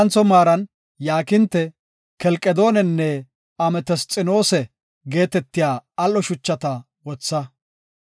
Heedzantho maaran yaakinte, kelqedoonenne ametesxinoosa geetetiya al7o shuchata wotha.